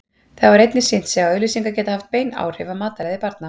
Það hefur einnig sýnt sig að auglýsingar geta haft bein áhrif á mataræði barna.